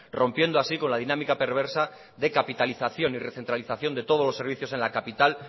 rompiendo así con la dinámica perversa de capitalización y recentralización de todos los servicios en la capital